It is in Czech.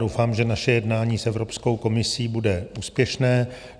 Doufám, že naše jednání s Evropskou komisí bude úspěšné.